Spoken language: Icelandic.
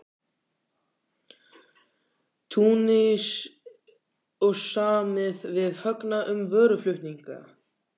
Túnis og samið við Högna um vöruflutninga.